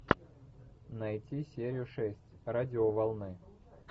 найти серию шесть радиоволны